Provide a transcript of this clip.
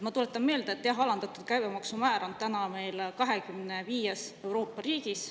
Ma tuletan meelde, et jah, alandatud käibemaksumäär on täna meil 25-s Euroopa riigis.